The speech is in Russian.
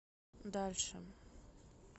дальше